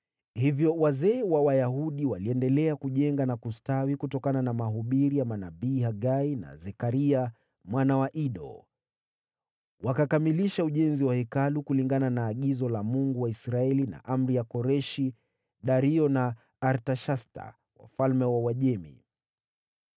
Hivyo wazee wa Wayahudi waliendelea kujenga na kustawi kutokana na mahubiri ya manabii Hagai na Zekaria, mwana wa Ido. Wakakamilisha ujenzi wa Hekalu kulingana na agizo la Mungu wa Israeli na amri ya Koreshi, Dario na Artashasta wafalme wa Uajemi.